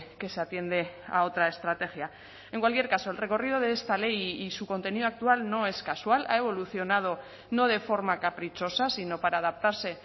que se atiende a otra estrategia en cualquier caso el recorrido de esta ley y su contenido actual no es casual ha evolucionado no de forma caprichosa sino para adaptarse